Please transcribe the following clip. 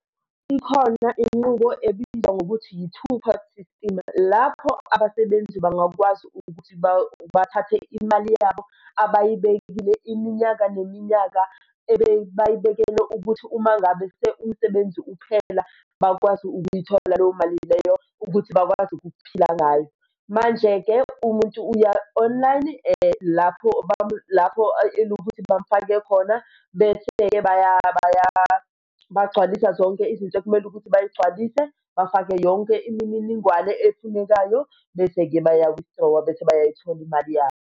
Ikhona inqubo ebizwa ngokuthi yi-two pot system lapho abasebenzi bangakwazi ukuthi bathathe imali yabo abayibekile iminyaka neminyaka ebebayibekele ukuthi uma ngabe umsebenzi uphela, bakwazi ukuyithola leyo mali leyo ukuthi bakwazi ukuphila ngayo. Manje-ke umuntu uya-online lapho lapho ukuthi bamufake khona, bese-ke bagcwalisa zonke izinto ekumele ukuthi bayigcwalise, bafake yonke imininingwane efunekayo. Bese-ke baya-withdraw-a bese-ke bayayithola imali yabo.